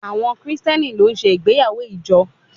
Àwọn Kristẹni ló ṣe ìgbéyàwó ìjọ